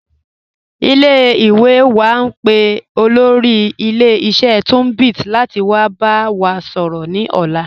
Ile-iwe wa n pe olóri ilẹ̀-iṣẹ̀ Tunbit lati wa ba wa sọrọ ni ọ̀la.